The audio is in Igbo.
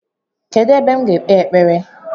Kedụ ebe m ga ekpe ekpere?